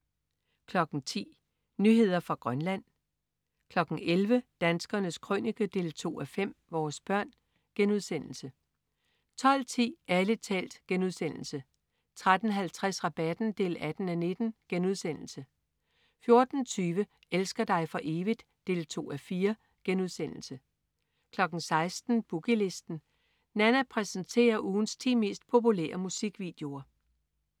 10.00 Nyheder fra Grønland 11.00 Danskernes Krønike 2:5. Vores børn* 12.10 Ærlig talt* 13.50 Rabatten 18:19* 14.20 Elsker dig for evigt? 2:4* 16.00 Boogie Listen. Nanna præsenterer ugens ti mest populære musikvideoer